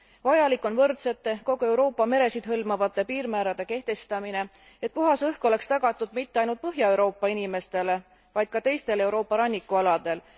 Vajalik on võrdsete, kogu Euroopa meresid hõlmavate piirmäärade kehtestamine, et puhas õhk oleks tagatud mitte ainult Põhja Euroopa inimestele, vaid ka teistele Euroopa rannikualadele.